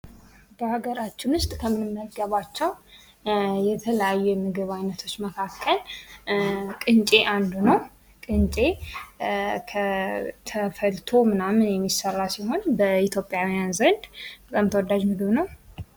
በሀገራችን ውስጥ ከምንመገባቸው የተለያየ የምግብ አይነቶች መካከል ቅንጨ አንዱ ነው። ቅንጨ ተፈልቶ ምናምን የሚሰራ ሲሆን በኢትዮጵያውያን ዘንድ በጣም ተወዳጅ የሆነምግብ ነው።